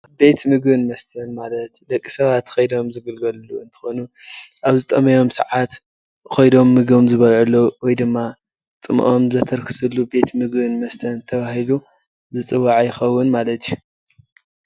ቤት ምግብን መስተን ማለት ደቂ ሰባት ከይዶም ዝግልገልሉ እትኮኑ ኣብ ዝጠመዮም ሰዓት ከይዶም ምግቦም ዝበልዕሉ ወይ ድማ ፅምኦም ዘተርክስሉን ቤት ምግብን መስተን ተባሂሉ ዝፅዋዕ ይከውን ማለት እዩ።